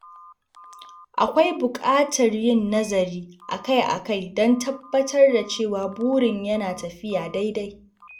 Akwai bukatar yin nazari akai-akai don tabbatar da cewa burin yana tafiya daidai.